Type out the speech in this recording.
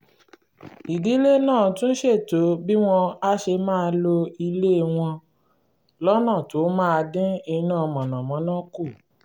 ìdílé náà tún ṣètò bí wọ́n á ṣe máa lo ilé wọn lọ́nà tó máa dín iná mànàmáná kù